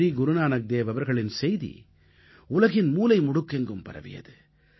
ஸ்ரீ குருநானக்தேவ் அவர்களின் செய்தி உலகின் மூலை முடுக்கெங்கும் பரவியது